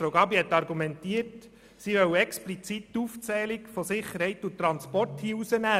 Frau Gabi hat argumentiert, sie wolle hier explizit die Aufzählung von Sicherheit und Transport ausschliessen.